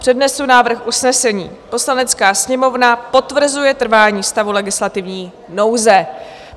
Přednesu návrh usnesení: "Poslanecká sněmovna potvrzuje trvání stavu legislativní nouze."